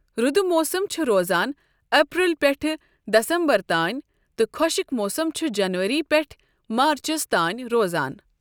رُدٕ موسم چُھ روزان اَپریل پیٚٹھٕ دَسمبر تانۍ تہٕ خۄشٕک موسم چُھ جنؤری پیٚٹھٕ مارچس تانۍ روزان ۔